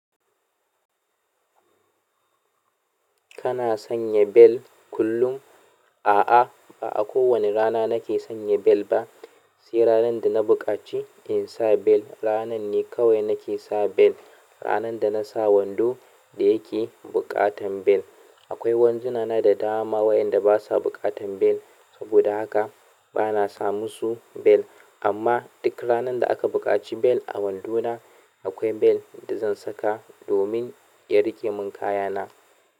Kana sanya bel kullum? A'a, ba a kowane rana nake sanya bel ba. Sai ranar da na buƙaci in sa bel, ranar ne kawai nake sa bel. Ranar da na sa wando da yake buƙatar bel. Akwai wandona na da dama wainda ba sa buƙatar bel, saboda haka ba na sa musu bel. Amma duk ranar da aka buƙaci bel a wando na, akwai bel da zan saka domin ya riƙe min kaya na.